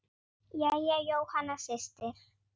Jæja, Jóhanna systir.